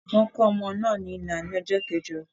Wọ́n kò ọmọ náà ní ìlà ní ọjọ́ keẹ̀jọ.